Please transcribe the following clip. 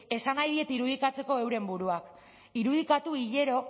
esan nahi diet irudikatzeko euren buruak irudikatu hilero